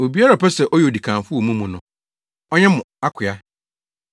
Obiara a ɔpɛ sɛ ɔyɛ odikanfo wɔ mo mu no, ɔnyɛ mo akoa.